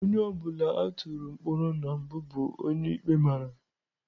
Onye ọ bụla a tụrụ mkpọrọ na mbụ bụ onye ikpe mara.